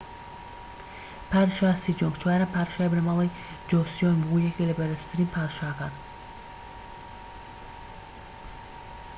پادشا سیجۆنگ چوارەم پادشای بنەماڵەی جۆسیۆن بوو و یەکێکە لە بەڕێزترین پادشاکان